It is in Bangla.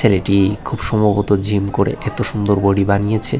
ছেলেটি খুব সম্ভবত জিম করে এত সুন্দর বডি বানিয়েছে।